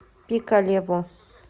пикалево